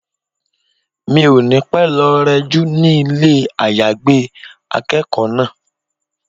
Mi ò ní pẹ́ lọ rẹ jú ní ilé àyágbé akẹ́kọ̀ọ́ náà.